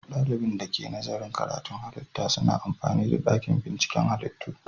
Dalibin da ke nazarin ilmin halitta suna amfani da dakin binciken halittu.